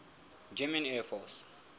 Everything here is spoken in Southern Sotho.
german air force